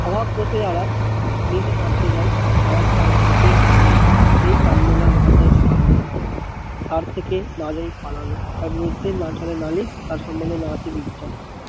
স্বভাব দোষে যারা নিজে ভাবতে যায় তারা খায় ভুতের কানমোলা সেই কানমোলা না যায় ছাড়ানো তার থেকে না যায় পালানো তার বিরুদ্ধে না চলে নালিশ তার সমন্ধে আসে বিচার